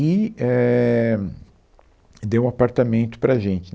e éh, deu um apartamento para a gente.